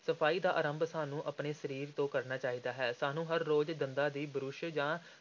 ਸਫ਼ਾਈ ਦਾ ਆਰੰਭ ਸਾਨੂੰ ਆਪਣੇ ਸਰੀਰ ਤੋਂ ਕਰਨਾ ਚਾਹੀਦਾ ਹੈ, ਸਾਨੂੰ ਹਰ ਰੋਜ਼ ਦੰਦਾਂ ਦੀ ਬੁਰਸ਼ ਜਾਂ